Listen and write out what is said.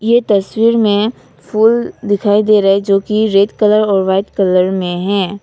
यह तस्वीर में फूल दिखाई दे रहा है जो की रेड कलर और व्हाइट कलर में है।